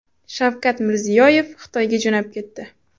Shavkat Mirziyoyev Xitoyga jo‘nab ketdi.